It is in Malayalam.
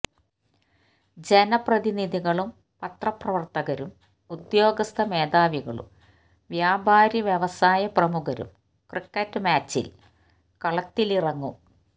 ജനപ്രതിനിധികളും പത്രപ്രവര്ത്തകരും ഉദ്യോഗസ്ഥ മേധാവികളും വ്യാപാരി വ്യവസായ പ്രമുഖരും ക്രിക്കറ്റ് മാച്ചില് കളത്തിലിറങ്ങും